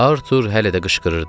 Artur hələ də qışqırırdı.